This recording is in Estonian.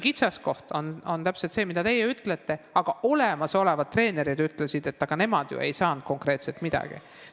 Kitsaskoht on täpselt see, mida te mainisite, et aga olemasolevad treenerid ütlesid, et nemad ei saanud konkreetselt midagi.